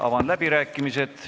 Avan läbirääkimised.